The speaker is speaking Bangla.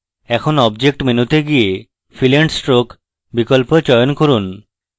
এখন object menu তে গিয়ে fill and stroke বিকল্প চয়ন করুন